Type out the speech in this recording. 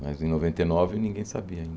Mas em noventa e nove ninguém sabia ainda.